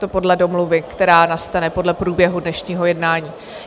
To podle domluvy, která nastane podle průběhu dnešního jednání.